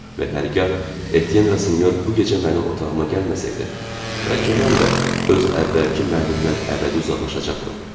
Və hər gah Etyen Rasinyor bu gecə mənim otağıma gəlməsəydi, bəlkə mən də öz əvvəlki mənimdən əbədi uzaqlaşacaqdım.